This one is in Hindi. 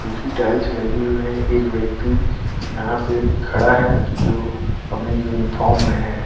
कुछ ही टाइल्स लगी हुई हैं एक व्यक्ति यहाँ पे खड़ा है जो अपनी यूनिफार्म में है।